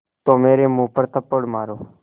तो मेरे मुँह पर थप्पड़ मारो